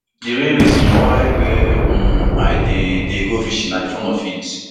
di real reason why wey um i dey dey go fishing na for di fun of it